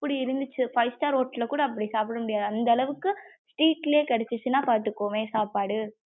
அப்படி இருந்துச்சு five star hotel ல கூட அப்படி சாப்ட முடியாது அந்த அளவுக்கு வீட்டுள்ளே கிடச்சுனா பாதுக்கோவே சாப்பாடு.